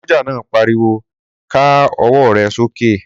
Sọ́jà náà pariwo ká ọwọ́ rẹ sókè?